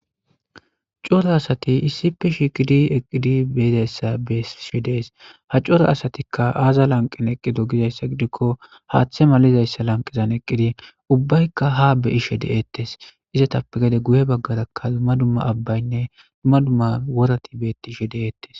C'ora asati issipe shiqidi eqidi be'zaysa besishe de'es ha c'ora asatika aza lanqen eqidi gizaysa gidiko hate malizaysa lanqezan eqidi ubayika ha be'ishe detes izatape gede guye bagaraka duma duma abayne duma duma worati betishe de'etes.